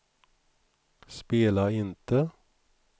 spela inte